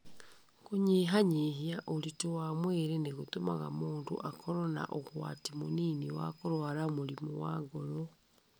Kũnyihanyihia ũritũ wa mwĩrĩ nĩ gũtũmaga mũndũ akorũo na ũgwati mũnini wa kũrũara mũrimũ wa ngoro.